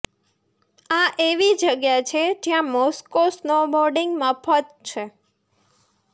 આ એવી જગ્યા છે જ્યાં મોસ્કો સ્નોબોર્ડિંગ મફત છે